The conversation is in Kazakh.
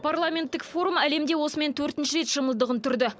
парламенттік форум әлемде осымен төртінші рет шымылдығын түрді